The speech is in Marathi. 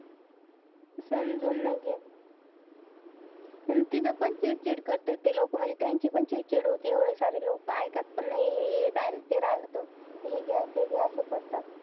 समजून नाय घेत. अन तिथं पण चिडचिड करतात ते लोकं. म्हणजे त्यांची पण चिडचिड होते. एवढे सारे लोकं ऐकत पण नाही, हे राहील ते राहील तर हे घ्या, ते घ्या असं करतात.